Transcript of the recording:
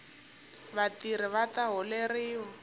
vatirhi vata holeriwa